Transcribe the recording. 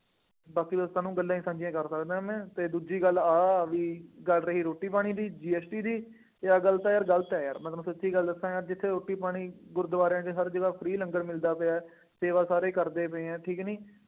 ਬਾਕੀ ਦੋਸਤਾਂ ਨੂੰ ਗੱਲਾਂ ਹੀ ਸਾਂਝੀਆਂ ਕਰ ਸਕਦਾ ਮੈਂ ਅਤੇ ਦੂਜੀ ਗੱਲ ਆਹ ਆ ਬਈ ਗੱਲ ਹੈਗੀ ਰੋਟੀ ਪਾਣੀ ਦੀ GST ਦੀ ਅਤੇ ਇਹ ਆਹ ਗੱਲ ਤਾਂ ਯਾਰ ਗਲਤ ਹੈ ਯਾਰ, ਮੈਂ ਤੁਹਾਨੂੰ ਸੱਚੀ ਗੱਲ ਦੱਸਾਂ, ਜਿੱਥੇ ਰੋਟੀ ਪਾਣੀ, ਗੁਰਦੁਆਰਿਆਂ ਦੇ ਸਭਂ ਜਗ੍ਹਾ free ਲੰਗਰ ਮਿਲਦਾ ਪਿਆ, ਸੇਵਾ ਸਾਰੇ ਕਰਦੇ ਪਏ ਹੈ, ਠੀਕ ਕਿ ਨਹੀਂ।